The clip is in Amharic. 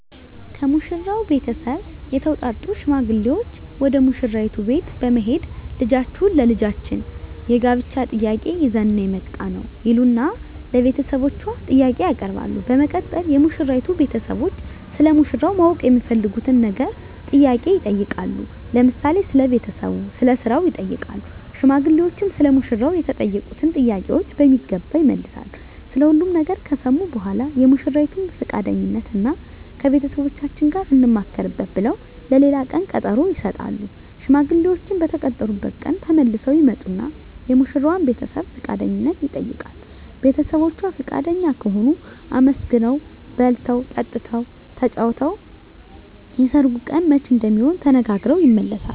ከሙሽራው ቤተሰብ የተውጣጡ ሽማግሌዎች ወደ ሙሽራይቱ ቤት በመሄድ ልጃችሁን ለልጃችን የጋብቻ ጥያቄ ይዘን ነው የመጣነው ይሉና ለቤተሰቦቿ ጥያቄ ያቀርባሉ በመቀጠል የሙሽራይቱ ቤተሰቦች ስለ ሙሽራው ማወቅ የሚፈልጉትን ነገር ጥያቄ ይጠይቃሉ ለምሳሌ ስለ ቤተሰቡ ስለ ስራው ይጠይቃሉ ሽማግሌዎችም ሰለ ሙሽራው የተጠየቁትን ጥያቄ በሚገባ ይመልሳሉ ስለ ሁሉም ነገር ከሰሙ በኃላ የሙሽራይቱን ፍቃደኝነት እና ከቤተሰቦቻችን ጋር እንማከርበት ብለው ለሌላ ቀን ቀጠሮ ይሰጣሉ። ሽማግሌዎችም በተቀጠሩበት ቀን ተመልሰው ይመጡና የሙሽራዋን ቤተሰብ ፍቃደኝነት ይጠይቃሉ ቤተሰቦቿ ፍቃደኛ ከሆኑ አመስግነው በልተው ጠጥተው ተጫውተው የሰርጉ ቀን መቼ እንደሚሆን ተነጋግረው ይመለሳሉ።